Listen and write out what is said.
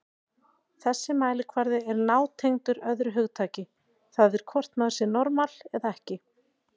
Þessi mælikvarði er nátengdur öðru hugtaki, það er hvort maður sé normal eða ekki.